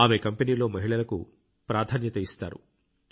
ఆమె కంపెనీలో మహిళలకు ప్రాధాన్యత ఇస్తారు